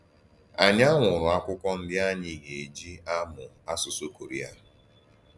Ànyí ànwụ̀rù àkwụ́kwọ̀ ndí ànyí gà-èjì àmù àsụsụ Kòréà.